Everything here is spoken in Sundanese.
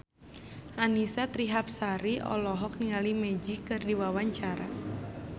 Annisa Trihapsari olohok ningali Magic keur diwawancara